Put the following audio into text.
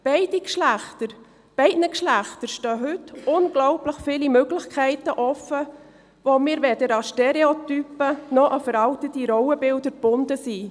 Beiden Geschlechtern stehen heute unglaublich viele Möglichkeiten offen, weil wir weder an Stereotypen noch an veraltete Rollenbilder gebunden sind.